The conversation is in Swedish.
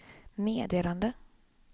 meddelande